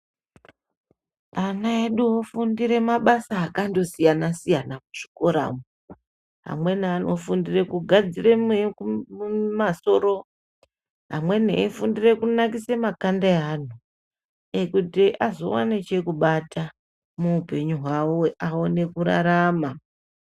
Ana edu ofundire mabasa akandosiyana siyana kuzvikora umu. Amweni anofundire kugadzire mumasoro amweni efundira kunakise makhanda ewanhu kuti azowana chekubata muhupenyu hwawo awane kurarama.